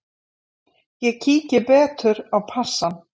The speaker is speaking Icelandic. Ég kíki betur á passann.